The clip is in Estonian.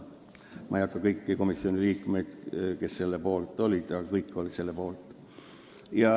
Ma ei hakka nimetama kõiki komisjoni liikmeid, kes selle otsuse poolt olid, aga kõik olid selle poolt.